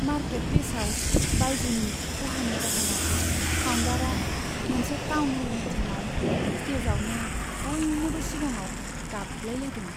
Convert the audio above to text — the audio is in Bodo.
मारकेटप्लेसआव बायजुनि खहानि जाहोनाव फाउन्डारआ मोनसे टाउनह'ल मिटिंआव स्टेजआवनो बयनिबो सिगांआव गाबलायलायदों।